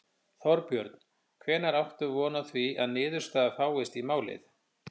Þorbjörn: Hvenær áttu von á því að niðurstaða fáist í málið?